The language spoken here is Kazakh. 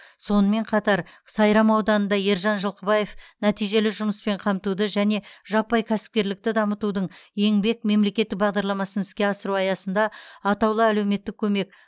сонымен қатар сайрам ауданында ержан жылқыбаев нәтижелі жұмыспен қамтуды және жаппай кәсіпкерлікті дамытудың еңбек мемлекеттік бағдарламасын іске асыру аясында атаулы әлеуметтік көмек